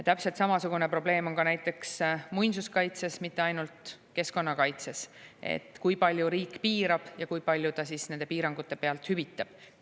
Täpselt samasugune probleem on näiteks muinsuskaitses, mitte ainult keskkonnakaitses, et kui palju riik piirab ja kui palju ta nende piirangute pealt hüvitab.